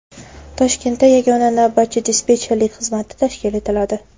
Toshkentda yagona navbatchi-dispetcherlik xizmati tashkil etiladi.